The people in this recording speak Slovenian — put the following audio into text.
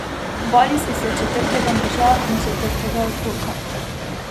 Bali so se četrtega moža in četrtega otroka.